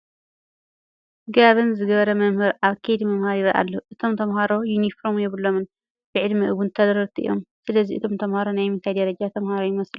ጋባን ዝገበረ መምህር ኣብ ከይዲ ምምሃር ይርአ ኣሎ፡፡ እቶም ተመሃሮ ዩኒፎርም የብሎምን፡፡ ብዕድመ እውን ተረርቲ እዮም፡፡ ስለዚ እቶም ተመሃሮ ናይ ምንታይ ደረጃ ተመሃሮ ይመስሉ?